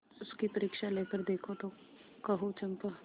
उसकी परीक्षा लेकर देखो तो कहो चंपा